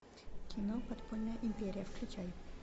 кино подпольная империя включай